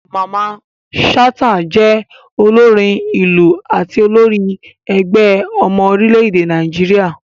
Mamman Shata jẹ́ olórin ìlù àti olórí ẹgbẹ́ ọmọ orílẹ̀-èdè Nàìjíríà.